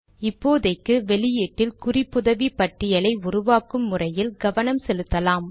இப்போதைக்கு வெளியீட்டில் குறிப்புதவி பட்டியலை உருவாக்கும் முறையில் கவனம் செலுத்தலாம்